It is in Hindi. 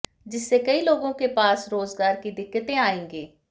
जिससे कई लोगों के पास रोजगार की दिक्कतें आयेंगी